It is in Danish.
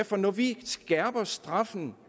for når vi skærper straffen